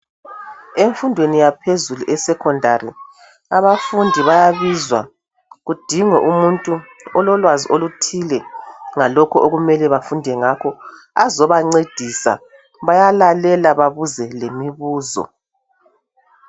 Emfundweni yaphezulu esecondary abafundi bayabizwa. Kudingwe umuntu ololwazi oluthile, ngalokho okumele bafunde ngakho. Azobancedisa. Bayalalela, babuze lemibuzo.